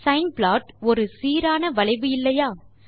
sign plot ஒரு சீரான வளைவு இல்லையா